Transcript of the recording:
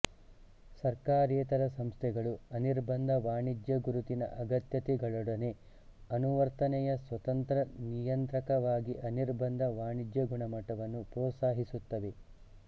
ಸರ್ಕಾರೇತರ ಸಂಸ್ಥೆಗಳು ಅನಿರ್ಬಂಧ ವಾಣಿಜ್ಯ ಗುರುತಿನ ಅಗತ್ಯತೆಗಳೊಡನೆ ಅನುವರ್ತನೆಯ ಸ್ವತಂತ್ರ ನಿಯಂತ್ರಕವಾಗಿಅನಿರ್ಬಂಧ ವಾಣಿಜ್ಯ ಗುಣಮಟ್ಟವನ್ನು ಪ್ರೋತ್ಸಾಹಿಸುತ್ತವೆ